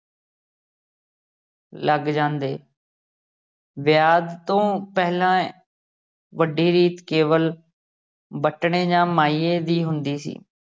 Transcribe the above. ਲੱਗ ਜਾਂਦੇ ਵਿਆਹ ਤੋਂ ਪਹਿਲਾ ਵੱਡੀ ਰੀਤ ਕੇਵਲ ਵਟਣੇ ਜਾਂ ਮਾਹੀਏ ਦੀ ਹੁੰਦੀ ਸੀ।